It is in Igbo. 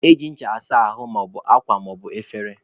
Eji ncha asa ahụ maọbụ akwa maọbụ efere.